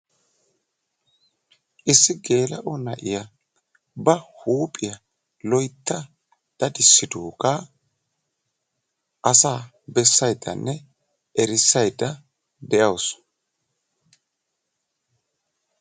issi geela'o na; iya ba huuphiya loytta daddissidoogaa asaa bessayddanne erissaydda de'awusu.